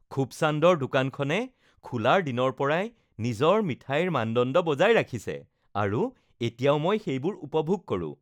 খুবচান্দৰ দোকানখনে খোলাৰ দিনৰ পৰাই নিজৰ মিঠাইৰ মানদণ্ড বজাই ৰাখিছে আৰু এতিয়াও মই সেইবোৰ উপভোগ কৰো